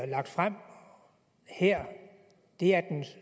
lagt frem her er den